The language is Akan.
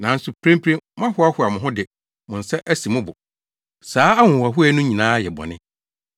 Nanso mprempren mohoahoa mo ho de mo nsa si mo bo. Saa ahohoahoa no nyinaa yɛ bɔne.